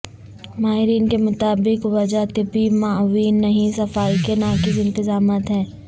ماہرین کے مطابق وجہ طبی معاونین نہیں صفائی کے ناقص انتظامات ہیں